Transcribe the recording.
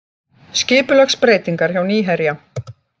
Skipulagsbreytingar hjá Nýherja